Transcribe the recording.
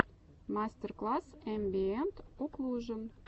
мастер класс эмбиэнт оклужен